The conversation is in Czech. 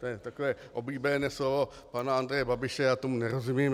To je takové oblíbené slovo pana Andreje Babiše - já tomu nerozumím.